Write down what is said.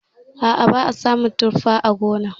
A'a ba a samun tuffa a gonar.